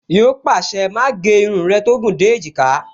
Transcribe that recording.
Yíò pàṣẹ, "Má gé irun rẹ tó gùn dé èjìká"